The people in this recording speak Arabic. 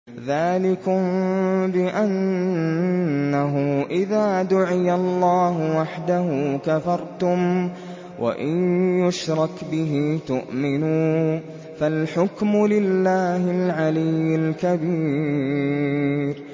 ذَٰلِكُم بِأَنَّهُ إِذَا دُعِيَ اللَّهُ وَحْدَهُ كَفَرْتُمْ ۖ وَإِن يُشْرَكْ بِهِ تُؤْمِنُوا ۚ فَالْحُكْمُ لِلَّهِ الْعَلِيِّ الْكَبِيرِ